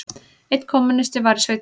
Einn kommúnisti var í sveitinni.